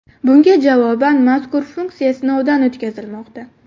Bunga javoban mazkur funksiya sinovdan o‘tkazilmoqda.